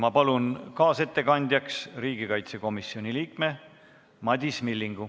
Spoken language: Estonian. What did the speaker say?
Ma palun kaasettekandjaks riigikaitsekomisjoni liikme Madis Millingu.